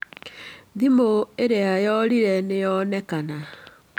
Thimũ ĩrĩa yorĩĩte nĩ yonekana.